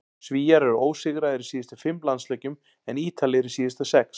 Svíar eru ósigraðir í síðustu fimm landsleikjum en Ítalir í síðustu sex.